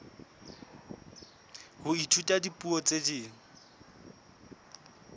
ho ithuta dipuo tse ding